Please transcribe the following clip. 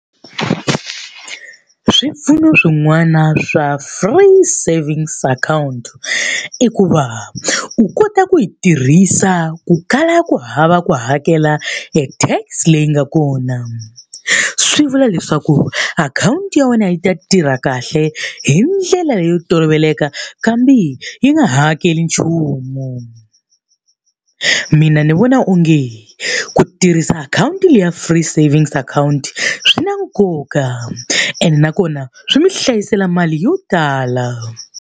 Swipfuno swin'wana swa Free Savings Account i ku va, u kota ku yi tirhisa ku kala ku hava ku hakela e tax leyi nga kona. Swi vula leswaku akhawunti ya wena yi ta tirha kahle hi ndlela leyo toloveleka kambe yi nga hakeli nchumu. Mina ni vona onge ku tirhisa akhawunti leyi ya Free Savings Account swi na nkoka, ene nakona swi mi hlayisela mali yo tala.